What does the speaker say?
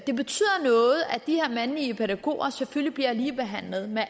de her mandlige pædagoger selvfølgelig bliver ligebehandlet med